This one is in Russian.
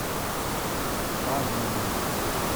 пановым